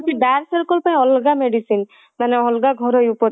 dark circle ପାଇଁ ଅଲଗା medicine ମାନେ ଅଲଗା ଘରୋଇ ଉପଚାର